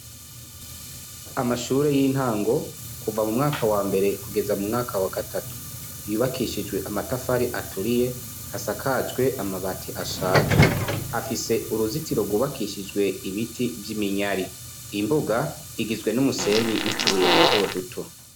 Amashure y'intango kuva mu mwaka wa mbere kugeza mu mwaka wa gatatu yubakishijwe amatafari aturiye hasakajwe amabati ashaje afise uruzitiro rwubakishijwe ibiti vy'iminyari imbuga igizwe n'umusenyi n'utubuye dutoduto.